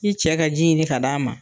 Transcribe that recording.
I cɛ ka ji ɲini ka d'a ma.